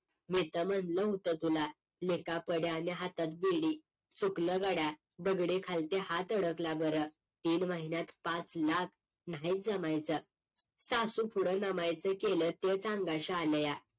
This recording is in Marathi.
मी तर म्हणलं होतं तुला लेका पड्या आणि हातात बेडी चुकलं गड्या दगडी खालती हात अडकला बरं तीन महिन्यात पाच लाख नाहीत जमायचं सासू पुढं नमायचं केलं तेच अंगाशी आलया